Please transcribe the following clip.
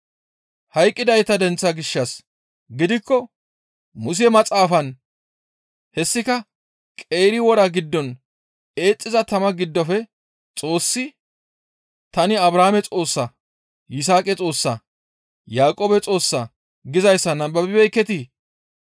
Hayqqidayta denththa gishshas gidikko Muse maxaafan hessika qeeri wora giddon eexxiza tama giddofe Xoossi, ‹Tani Abrahaame Xoossaa; Yisaaqa Xoossaa; Yaaqoobe Xoossaa› gizayssa nababibeekketii?